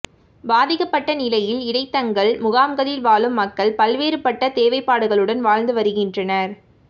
பாதிக்கப்பட்ட நிலையில் இடைத்தங்கல் முகாம்களில் வாழும் மக்கள் பல்வேறுபட்ட தேவைப்பாடுகளுடன் வாழ்ந்து வருகின்றனர்